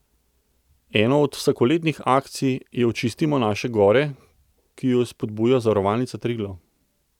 Ena od vsakoletnih akcij je Očistimo naše gore, ki jo spodbuja Zavarovalnica Triglav.